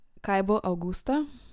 Kaj bo avgusta?